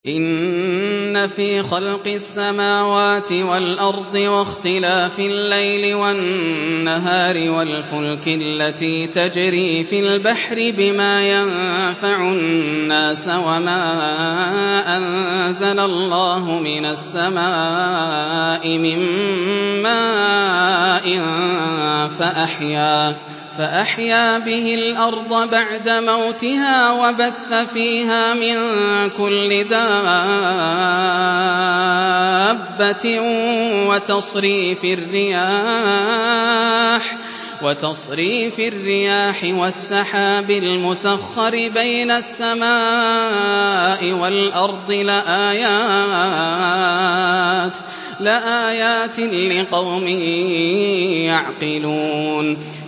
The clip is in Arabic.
إِنَّ فِي خَلْقِ السَّمَاوَاتِ وَالْأَرْضِ وَاخْتِلَافِ اللَّيْلِ وَالنَّهَارِ وَالْفُلْكِ الَّتِي تَجْرِي فِي الْبَحْرِ بِمَا يَنفَعُ النَّاسَ وَمَا أَنزَلَ اللَّهُ مِنَ السَّمَاءِ مِن مَّاءٍ فَأَحْيَا بِهِ الْأَرْضَ بَعْدَ مَوْتِهَا وَبَثَّ فِيهَا مِن كُلِّ دَابَّةٍ وَتَصْرِيفِ الرِّيَاحِ وَالسَّحَابِ الْمُسَخَّرِ بَيْنَ السَّمَاءِ وَالْأَرْضِ لَآيَاتٍ لِّقَوْمٍ يَعْقِلُونَ